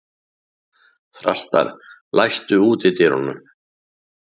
Þrastar, læstu útidyrunum.